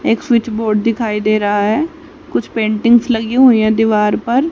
एक switch board दिखाई दे रहा है कुछ पेंटिंग्स लगी हुई है दीवार पर--